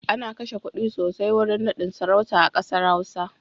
Ana kashe kuɗi sosai wurin naɗin sarauta a ƙasar Hausa.